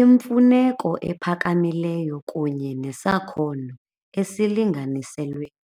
Imfuneko ephakamileyo kunye nesakhono esilinganiselweyo.